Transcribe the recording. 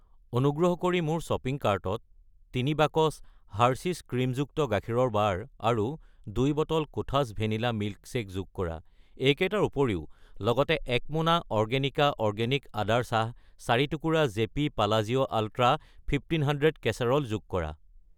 অনুগ্ৰহ কৰি মোৰ শ্বপিং কাৰ্টত 3 বাকচ হাৰ্সীছ ক্ৰীমযুক্ত গাখীৰৰ বাৰ আৰু 2 বটল কোঠাছ ভেনিলা মিল্কশ্বেক যোগ কৰা। এইকেইটাৰ উপৰিও, লগতে 1 মোনা অৰ্গেনিকা অৰ্গেনিক আদাৰ চাহ , 4 টুকুৰা জেপি পালাজিঅ’ আল্ট্ৰা ১৫০০ কেচেৰল যোগ কৰা।